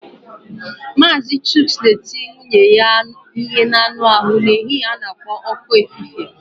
Mazị chuks na-eti nwunye ya ihe n'anụ ahụ n'ehihie a na-ekpo ọkụ efife.